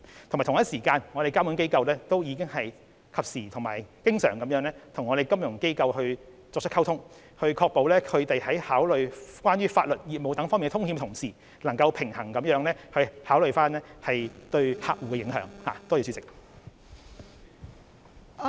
同時，監管機構亦已及時和經常與金融機構溝通，確保他們考慮有關法律及業務等風險的同時，能夠平衡地考慮對客戶的影響。